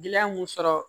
Gɛlɛya mun sɔrɔ